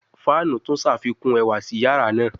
Fanu tun ṣafikun ẹwa si yara naa